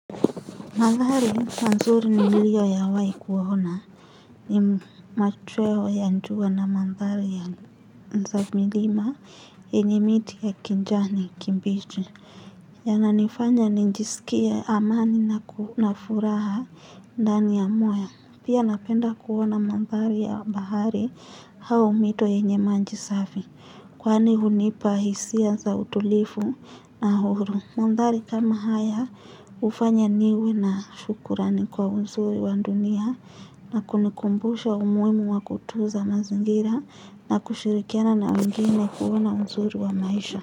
Mandhari manzuri ni nilio yawai kuona. Ni machweo ya njua na mandhari ya za milima enye miti ya kinjani kimbichi. Yananifanya ninjisikie amani na na furaha ndani ya moyo. Pia napenda kuona mandhari ya bahari hao mito yenye manji safi. Kwaani hunipa hisia za utulifu na huru. Mandari kama haya ufanya niwe na shukurani kwa uzuri wa dunia. Na kunikumbusha umuhimu wa kutunza mazingira na kushirikiana na wengine na kuona uzuri wa maisha.